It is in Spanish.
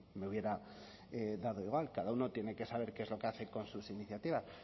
me hubiera dado igual cada uno tiene que saber qué es lo que hace con sus iniciativas